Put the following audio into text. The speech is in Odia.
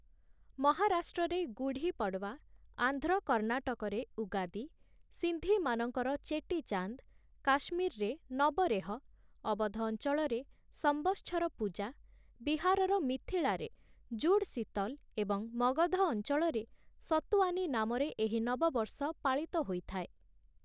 ମହାରାଷ୍ଟ୍ରରେ ଗୁଢ଼ି ପଡ଼ୱା, ଆନ୍ଧ୍ର କର୍ଣ୍ଣାଟକରେ ଉଗାଦୀ, ସିନ୍ଧିମାନଙ୍କର ଚେଟିଚାନ୍ଦ, କାଶ୍ମୀରରେ ନବରେହ, ଅବଧ ଅଂଚଳରେ ସଂବତ୍ସର ପୂଜା, ବିହାରର ମିଥିଳାରେ ଜୁଡ୍ ଶୀତଲ୍ ଏବଂ ମଗଧ ଅଂଚଳରେ ସତୁୱାନୀ ନାମରେ ଏହି ନବବର୍ଷ ପାଳିତ ହୋଇଥାଏ ।